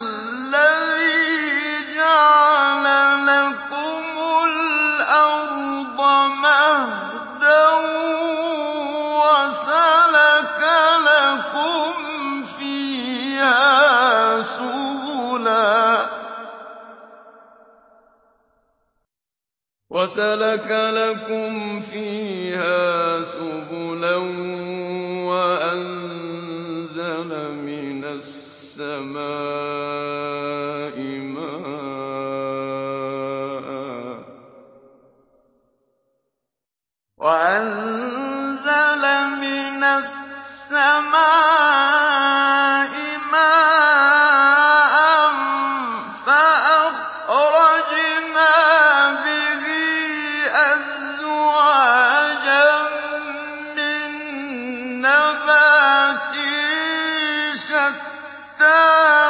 الَّذِي جَعَلَ لَكُمُ الْأَرْضَ مَهْدًا وَسَلَكَ لَكُمْ فِيهَا سُبُلًا وَأَنزَلَ مِنَ السَّمَاءِ مَاءً فَأَخْرَجْنَا بِهِ أَزْوَاجًا مِّن نَّبَاتٍ شَتَّىٰ